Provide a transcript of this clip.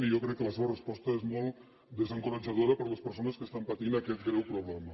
i jo crec que la seva resposta és molt desencoratjadora per a les persones que estan patint aquest greu problema